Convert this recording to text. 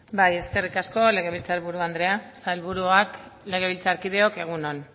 bai eskerrik asko legebiltzarburu andrea sailburuak legebiltzarkideok egun on